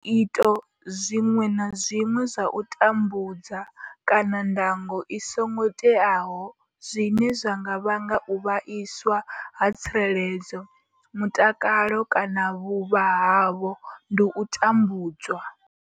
Zwiito zwiṅwe na zwiṅwe zwa u tambudza kana ndango i songo teaho zwine zwa nga vhanga u vhaiswa ha tsireledzo, mutakalo kana vhuvha havho ndi u tambudzwa.